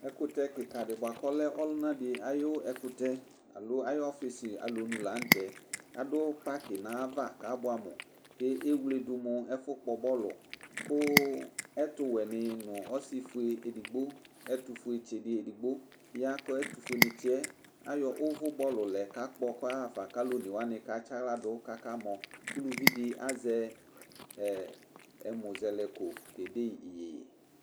Ɛkʋtɛ kikadi bʋakʋ ɔlɛ ɔlʋnali di ayʋ ɛkʋtɛ alo ayʋ ɔfisi alɔnʋ lanʋtɛ adʋ paki nʋ ayava kʋ abʋɛamʋ ewledu mʋ ɛfʋkpɔ bɔlʋ kʋ ɛtʋ wɛni nʋ ɛtʋfuetsi di edigbo ya kʋ ɛtʋfue nitsi yɛ ayɔ ʋvʋ bɔlʋlɛ kakpɔ kʋ ɔyaxafa kʋ alʋ ɔne wani katsi aɣladʋ kʋ akamɔ ʋlʋvidi azɛ ɛmʋ zɛlɛko kede iyeye